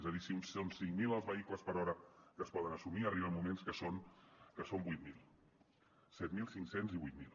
és a dir si són cinc mil els vehicles per hora que es poden assumir arriba moments en què són vuit mil set mil cinc cents i vuit mil